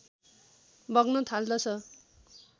बग्न थाल्दछ